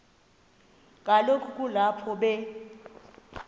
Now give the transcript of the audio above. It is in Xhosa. kaloku kulapho be